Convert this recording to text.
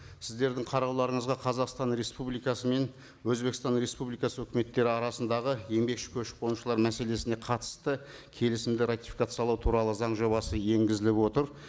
сіздердің қарауларыңызға қазақстан республикасы мен өзбекстан республикасы үкіметтері арасындағы еңбекші көшіп қонушылар мәселесіне қатысты келісімді ратификациялау туралы заң жобасы енгізіліп отыр